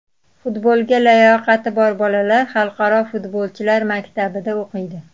Futbolga layoqati bor bolalar xalqaro futbolchilar maktabida o‘qiydi.